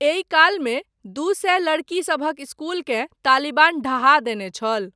एहि कालमे दू सए लड़कीसभक इस्कूलकेँ तालिबान ढहा देने छल।